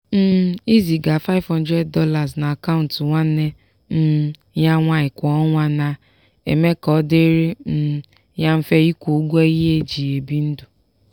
um ịziga $500 na akaụntụ nwanne um ya nwanyi kwa ọnwa na-eme ka ọ dịrị um ya mfe ịkwụ ụgwọ ihe eji ebi ndụ.